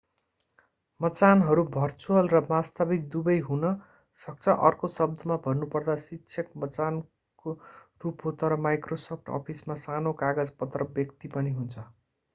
मचानहरू virtual र वास्तविक दुबै हुन सक्छ अर्को शब्दमा भन्नुपर्दा शिक्षक मचानको रूप हो तर माइक्रोसफ्ट अफिसमा सानो कागजपत्र व्यक्ति पनि हुन्छ